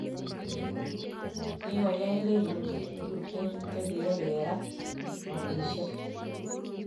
Kikoyai lelutik tuten ch kiyai kerat kolisiek